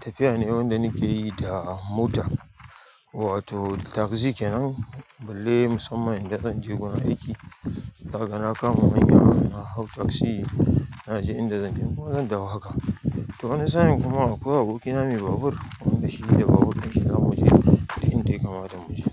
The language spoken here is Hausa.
tafiya ne wanda nake yi da mota. Wato taksi kenan balle musamman inda zanje wajen aiki to zaka na kama manya, na hau taxi, naje inda zan je, kuma zan dawo haka. To wani sa'in kuma akwai abokina me babur, wanda shi da babur ɗin shi za mu je, duk inda ya kamata mu je.